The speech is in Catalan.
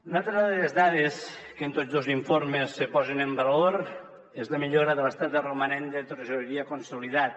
una altra de les dades que en tots dos informes se posa en valor és la millora de l’estat del romanent de tresoreria consolidat